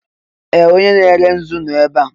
Ee! Onye na-ere nzu nọ ebe a.